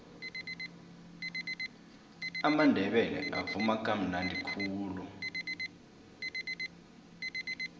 amandebele avuma kamnadi khulu